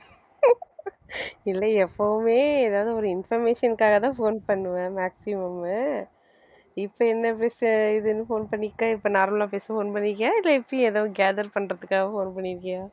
இல்லை எப்பவுமே எதாவது ஒரு information க்காகத்தான் phone பண்ணுவ maximum மு இப்ப என்ன இதுன்னு phone பண்ணிருக்க இப்ப normal லா பேச phone பண்ணி இருக்கியா இல்லை எப்படி ஏதும் gather பண்றதுக்காக phone பண்ணிருக்கியா